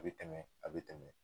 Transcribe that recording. A bi tɛmɛ a bi tɛmɛ